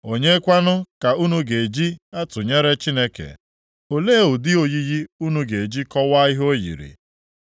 Onye kwanụ ka unu ga-eji tụnyere Chineke? Olee ụdị oyiyi unu ga-eji kọwaa ihe o yiri?